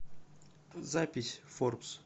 запись форбс